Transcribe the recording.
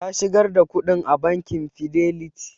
Ta shigar da kuɗin a bakin fidelity